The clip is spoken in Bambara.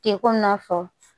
Te komi n y'a fɔ